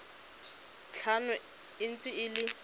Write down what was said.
tlhano e ntse e le